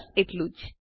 બસ એટલું જ